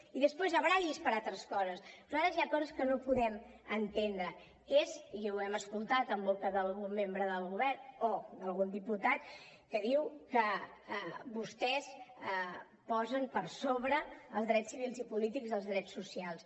i després baralli’s per altres coses però a vegades hi ha coses que no podem entendre i és i ho hem sentit en boca d’algun membre del govern o d’algun diputat que diu que vostès posen per sobre els drets civils i polítics als drets socials